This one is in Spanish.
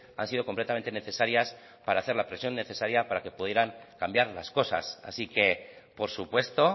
han sido completamente necesarias para hacer la presión necesaria para que pudieran cambiar las cosas así que por supuesto